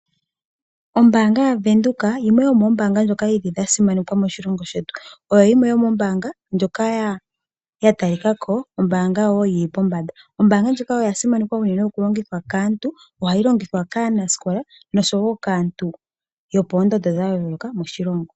Ombaanga ya Venduka yimwe yomoombanga ndjoka ya simanekwa moshilongo shetu. Oyo yimwe yo moombanga ndjoka ya ta li kako ombaanga yili pombanda. Ombaanga ndjika oyasimanekwa enene okulongithwa kaantu. Ohayi longithwa kaanasikola oshowo kaantu yo poondondo dha yooloka moshilongo.